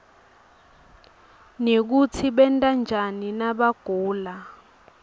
nekutsi benta njani nabagula